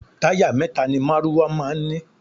Táyà mẹ́ta ni márúwá máa ń ní.